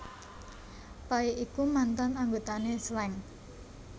Pay iku mantan anggotané Slank